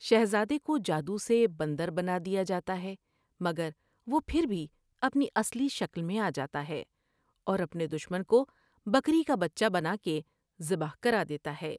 شہزادے کو جادو سے بندر بناد یا جا تا ہے مگر وہ پھر بھی اپنی اصلی شکل میں آ جاتا ہے اوراپنے دشمن کو بیکری کا بچہ بنا کے ذبح کر دیتا ہے ۔